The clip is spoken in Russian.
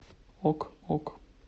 ок ок